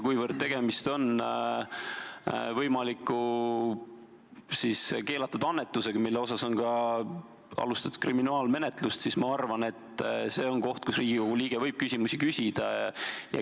Kuivõrd tegemist on võimaliku keelatud annetusega, mille uurimiseks on ka alustatud kriminaalmenetlust, siis ma arvan, et see on koht, kus Riigikogu liige võib küsimusi küsida.